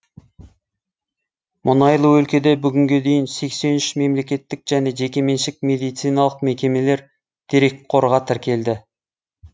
мұнайлы өлкеде бүгінге дейін сексен үш мемлекеттік және жекеменшік медициналық мекемелер дерекқорға тіркелді